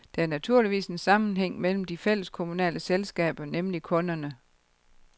Der er naturligvis en sammenhæng mellem de fælleskommunale selskaber, nemlig kunderne.